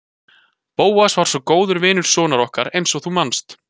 Bóas var svo góður vinur sonar okkar eins og þú manst.